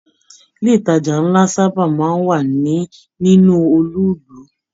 Ilé ìtàjà nlá saba máa n wà nínú olú ìlú.